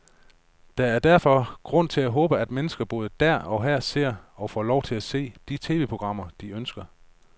Der er derfor grund til at håbe, at mennesker både der og her ser, og får lov til at se, de tv-programmer, de ønsker.